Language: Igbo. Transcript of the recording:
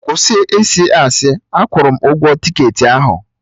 Kwụsị ịsị asị! Akwụrụ m ụgwọ tiketị ahụ